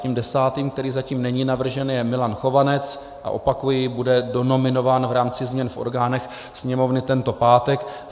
Tím desátým, který zatím není navržen, je Milan Chovanec a opakuji, bude donominován v rámci změn v orgánech Sněmovny tento pátek.